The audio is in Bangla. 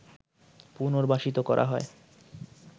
পুনর্বাসিত করা হয়